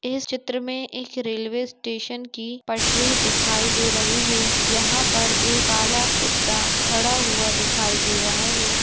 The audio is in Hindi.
इस चित्र मैं एक रेलवे स्टेशन की पटरी दिखाई दे रही है जहाँ पर एक काला कुत्ता खड़ा हुआ दिखाई दे रहा है।